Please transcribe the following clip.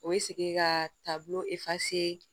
O ye segin ka taa bolo